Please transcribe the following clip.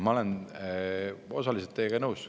Ma olen osaliselt teiega nõus.